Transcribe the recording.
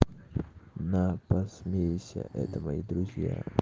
на посмейся это мои друзья